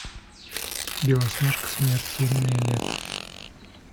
белоснежка смертельное лето